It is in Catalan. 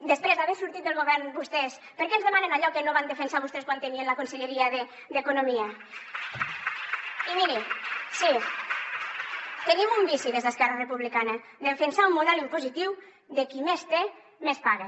després d’haver sortit del govern vostès per què ens demanen allò que no van defensar vostès quan tenien la conselleria d’economia i miri sí tenim un vici des d’esquerra republicana defensar un model impositiu de qui més té més paga